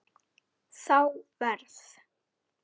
Þá verð